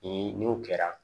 Ni n'o kɛra